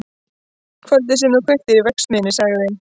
Kvöldið sem þú kveiktir í verksmiðjunni- sagði